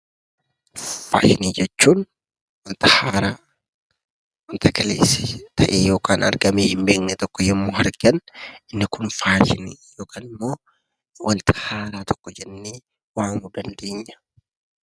Faashinii jechuun wanta haaraa, wanta kaleessa ta'ee yookaan argamee hin beekne tokko yommuu argan inni kun faashinii (wanta haaraa tokko) jennee waamuu dandeenya.